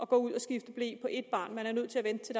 gå ud og skifte ble på ét barn man er nødt til at vente til